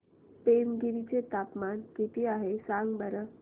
पेमगिरी चे तापमान किती आहे सांगा बरं